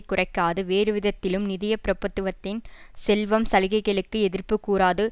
குறைக்காது வேறுவிதத்திலும் நிதிய பிரப்பத்துவத்தின் செல்வம் சலுகைகளுக்கு எதிர்ப்புக்கூறாது